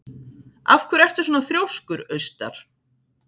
Af hverju ertu svona þrjóskur, Austar?